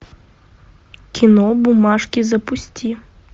кино бумажки запусти